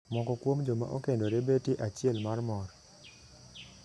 Moko kuom joma okendore betie achiel mar mor.